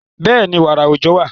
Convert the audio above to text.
Bẹ́ẹ̀ni, wààrà òòjọ́ wà.